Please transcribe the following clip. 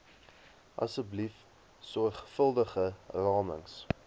asseblief sorgvuldige ramings